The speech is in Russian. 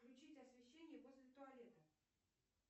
включить освещение возле туалета